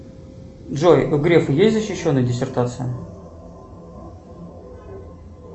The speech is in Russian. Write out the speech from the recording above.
джой у грефа есть защищенная диссертация